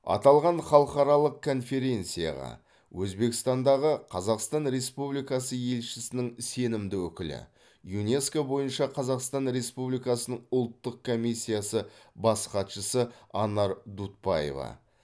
аталған халықаралық конференцияға өзбекстандағы қазақстан республикасы елшісінің сенімді өкілі юнеско бойынша қазақстан республикасының ұлттық комиссиясы бас хатшысы анар дутбаева